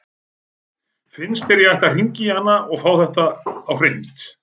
Finnst þér að ég ætti að hringja í hana og fá þetta á hreint?